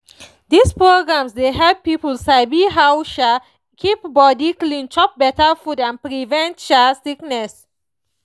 these programs dey help people sabi how to um keep body clean chop better food and prevent um sickness